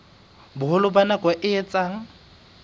boholo ba nako e etsang